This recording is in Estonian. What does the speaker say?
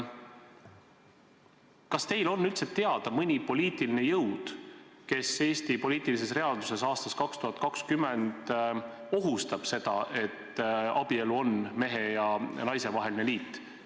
Kas teile on teada mõni poliitiline jõud, kes Eesti poliitilises reaalsuses aastal 2020 ohustab seda, et abielu on mehe ja naise vaheline liit?